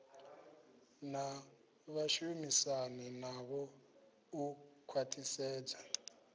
na vhashumisani navho u khwathisedza